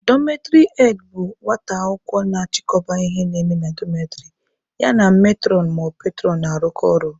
Dọmetịrị head bụ nwata akwụkwọ na-achịkọba ihe na-eme na dọmetịrị, ya na metụrọn/petụrọn na-arụkọ ọrụ.